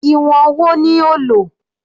Ìwọ̀n wo ni o lò?